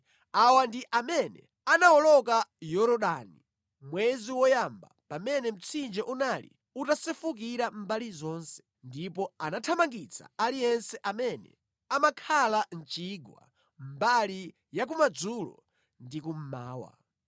Awa ndi amene anawoloka Yorodani mwezi woyamba pamene mtsinje unali utasefukira mbali zonse, ndipo anathamangitsa aliyense amene amakhala mʼchigwa, mbali ya kumadzulo ndi kummawa.